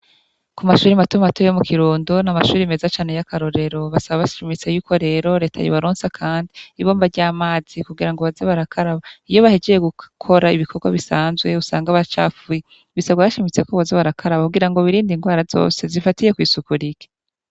Ku mashure mato mato yo mu Kirundo n'amashure meza cane y'akarorero basaba bashimitse yuko rero leta yobaronsa kandi ibomba ry'amazi kugira ngo baze barakaraba iyo bahejeje gukora ibikorwa bisanzwe usanga bacafuye bisabwa bashimitse ko boza barakaraba kugira ngo birinde indwara zose zifatiye kw'isuku rike.